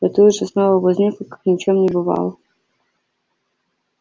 и тут же снова возникла как ни в чём не бывало